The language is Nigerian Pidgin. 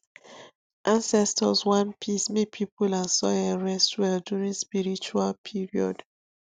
ancestors want peacemake people and soil rest well during spiritual period